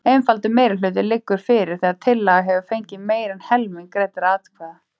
Einfaldur meirihluti liggur fyrir þegar tillaga hefur fengið meira en helming greiddra atkvæða.